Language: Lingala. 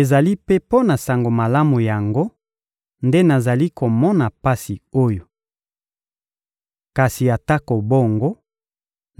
Ezali mpe mpo na Sango Malamu yango nde nazali komona pasi oyo. Kasi atako bongo,